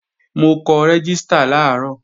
Mo kọ rẹ́gístà làárọ̀